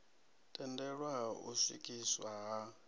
tendelwa ha u swikiswa ha